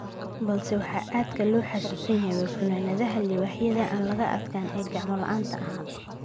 Balse waxa aadka loo xasuusan yahay waa funaanadaha Libaaxyada aan laga adkaan ee gacma la’aanta ahaa.